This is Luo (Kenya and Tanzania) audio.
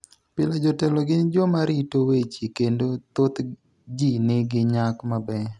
Pile, jotelo gin joma rito weche kendo thoth ji nigi nyak maber.